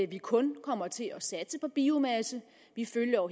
vi kun kommer til at satse på biomasse vi følger